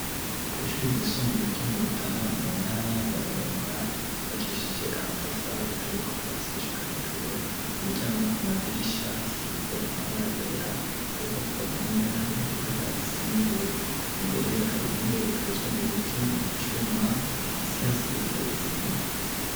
Kw'ishuri ry'isumbuye ryo murutana mu ntara ya burunga, ryubakishije amatafari ahiye ,kuvasi gushika hejuru kumiryango no ku madirisha hasize amabara yera, ariko ku mpome hariho ibara risa n'ubururu, imbere hari intebe ikozwe mu biti no kucuma hasi hasize isima.